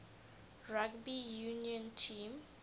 rugby union team